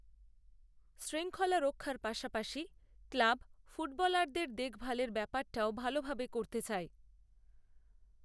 শৃংখলা রক্ষার পাশাপাশি ক্লাব ফুটবলারদের দেখভালের ব্যাপারটাওভালভাবে করতে চায়